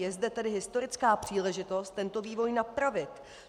Je zde tedy historická příležitost tento vývoj napravit.